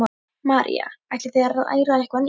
María: Ætlið þið að læra eitthvað nýtt?